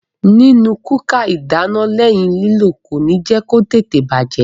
Nínu kúkà ìdáná lẹ́yìn lílò kòní jẹ́ kó tètè bàjẹ́.